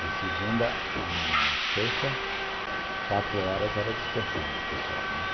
De segunda à sexta, quatro horas era dispensado pessoal, né.